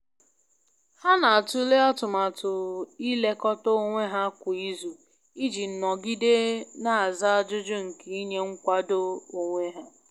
Ha na'atụle atụmatụ i lekọta onwe ha kwa izu i ji nọgide n'aza ajụjụ nke inye nkwado onwe ha.